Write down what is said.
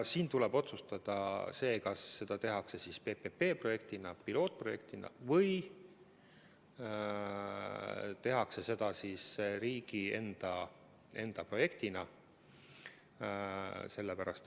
Siin tuleb otsustada, kas seda tehakse PPP-projektina, pilootprojektina või siis riigi enda projektina.